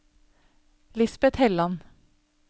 Lisbet Helland